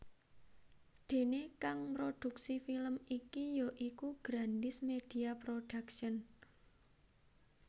Déné kang mrodhuksi film iki ya iku Grandiz Media Production